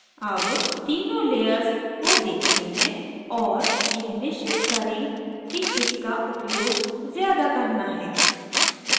अब तीनों layers को देखते हैं और यह निश्चित करें कि किसका उपयोग ज़्यादा करना है